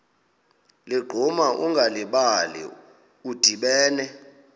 ligquma ungalibali udibene